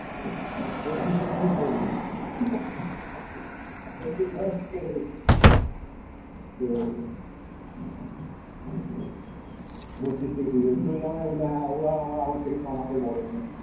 তো বত্রিশ টাই জামাই বললো হ্যাঁ ও আর আমার আমার থেকে ছ মাসের বড়ো আমার